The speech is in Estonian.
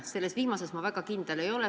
Aga selles viimases ma väga kindel ei ole.